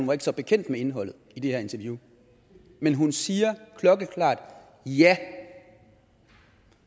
var så bekendt med indholdet i det her interview men hun siger klokkeklart ja